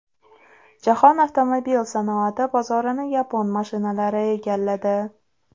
Jahon avtomobil sanoati bozorini yapon mashinalari egalladi.